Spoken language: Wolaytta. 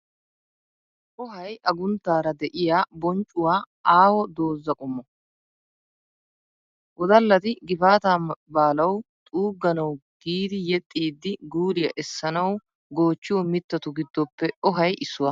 Ohay agunttaara de'iya, bonccuwaa aaho doza qommo. Wodallati gifaataa baalawu xuugganawu giidi yexxiiddi guuliyaa essanawu goochchiyo mittatu giddoppe ohay issuwaa .